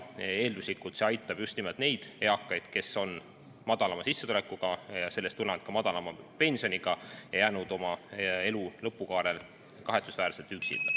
Eelduslikult aitab see just nimelt neid eakaid, kes on olnud madalama sissetulekuga ja on sellest tulenevalt ka madalama pensioniga ja on jäänud oma elu lõpukaarel kahetsusväärselt üksinda.